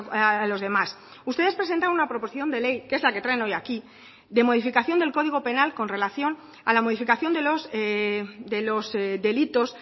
a los demás ustedes presentan una proposición de ley que es la que traen hoy aquí de modificación del código penal con relación a la modificación de los delitos